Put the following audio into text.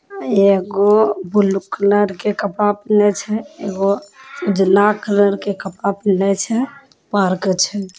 ये को blue colour के कपड़ा पिनहले छै एगो अ उजला कलर के कपड़ा पिनहले छै पार्क छै।